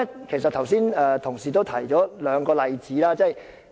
其實，剛才同事已提出兩個例子。